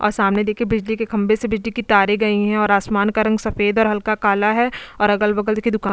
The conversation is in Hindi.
और सामने देखिए बिजली के खंबे से बिजली की तारें गई हैं और आसमान का रंग सफेद और हल्का काला है और अगल बगल देखिए दुकान --